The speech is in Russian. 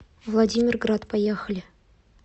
владимирград поехали